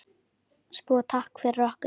Svo takk fyrir okkur.